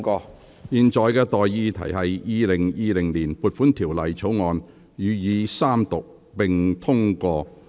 我現在向各位提出的待議議題是：《2020年撥款條例草案》予以三讀並通過。